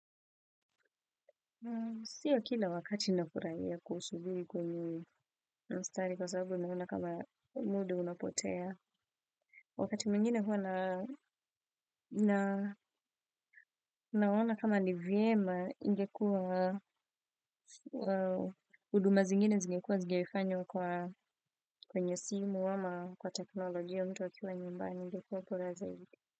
Sio kila wakati ninafurahia kusubiri kwenye mstari kwa sababu ninaona kama muda unapotea. Wakati mingine huwa na naona kama ni vyema ingekuwa huduma zingine zingekuwa zingefanywa kwenye simu ama kwa teknolojia mtu akiwa nyumbani ingekuwa bora zaidi.